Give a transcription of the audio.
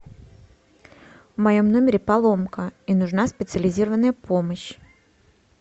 в моем номере поломка и нужна специализированная помощь